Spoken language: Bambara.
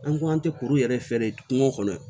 An ko an tɛ kuru yɛrɛ feere kungo kɔnɔ